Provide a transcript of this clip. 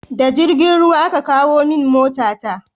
Da jirgin ruwa aka kawo min mota ta